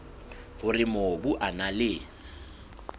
hore mobu o na le